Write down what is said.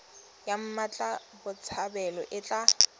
ya mmatla botshabelo e tla